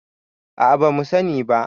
a a ba mu sani ba